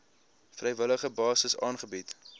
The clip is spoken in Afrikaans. vrywillige basis aangebied